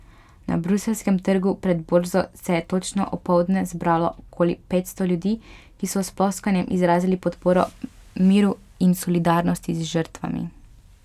Na bruseljskem trgu pred borzo se je točno opoldne zbralo okoli petsto ljudi, ki so s ploskanjem izrazili podporo miru in solidarnost z žrtvami.